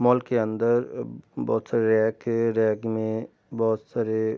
mall के अंदर बहुत सारे रेक है रैक में बहुत सारे --